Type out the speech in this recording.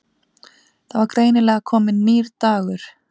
Það var greinilega kominn nýr dagur.